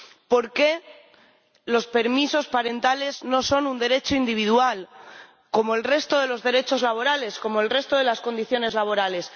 ¿Por qué los permisos parentales no son un derecho individual como el resto de los derechos laborales, como el resto de las condiciones laborales?